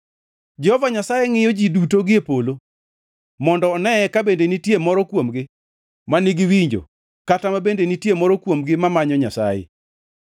Jehova Nyasaye ngʼiyo ji duto gie polo, mondo oneye ka bende nitie moro kuomgi ma nigi winjo, kata ka bende nitie moro kuomgi mamanyo Nyasaye.